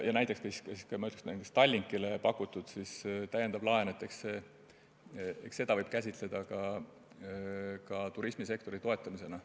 Ja näiteks ka Tallinkile pakutud täiendavat laenu võib käsitleda turismisektori toetamisena.